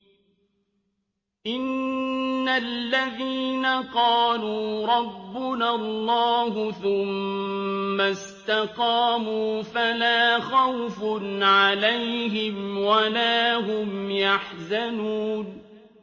إِنَّ الَّذِينَ قَالُوا رَبُّنَا اللَّهُ ثُمَّ اسْتَقَامُوا فَلَا خَوْفٌ عَلَيْهِمْ وَلَا هُمْ يَحْزَنُونَ